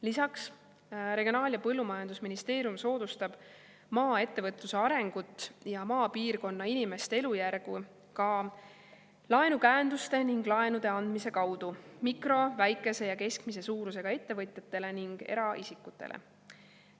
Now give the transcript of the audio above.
Lisaks, Regionaal‑ ja Põllumajandusministeerium soodustab maaettevõtluse arengut ja maapiirkonna inimeste elujärge ka laenukäenduste ning laenude andmise kaudu mikro‑, väikese ja keskmise suurusega ettevõtetele ning eraisikutele.